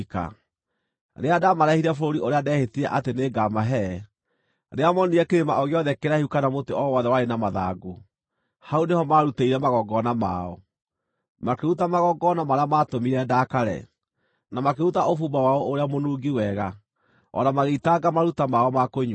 Rĩrĩa ndaamareehire bũrũri ũrĩa ndeehĩtire atĩ nĩngamahe, rĩrĩa moonire kĩrĩma o gĩothe kĩraihu kana mũtĩ o wothe warĩ na mathangũ, hau nĩho maarutĩire magongona mao, makĩruta magongona marĩa maatũmire ndakare, na makĩruta ũbumba wao ũrĩa mũnungi wega, o na magĩitanga maruta mao ma kũnyuuo.